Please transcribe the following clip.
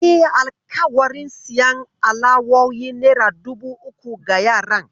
Nayi alƙawarin siyan alawowin nera dubu uku ga yaran.